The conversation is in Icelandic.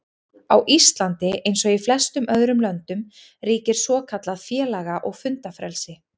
Á Íslandi, eins og í flestum öðrum löndum, ríkir svokallað félaga- og fundafrelsi.